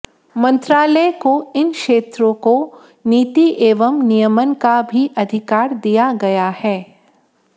मंत्रालय को इन क्षेत्रों को नीति एवं नियमन का भी अधिकार दिया गया है